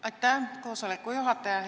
Aitäh, koosoleku juhataja!